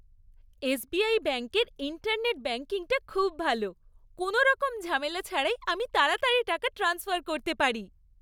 SBI ব্যাঙ্কের internet ব্যাঙ্কিংটা খুব ভাল। কোনোরকম ঝামেলা ছাড়াই আমি তাড়াতাড়ি টাকা ট্রান্সফার করতে পারি।